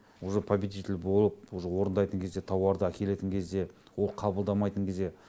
уже победитель болып уже орындайтын кезде тауарды әкелетін кезде ол қабылдамайтын кезде